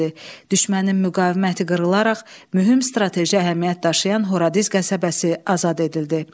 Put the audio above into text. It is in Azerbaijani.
Düşmənin müqaviməti qırılaraq mühüm strateji əhəmiyyət daşıyan Horadiz qəsəbəsi azad edildi.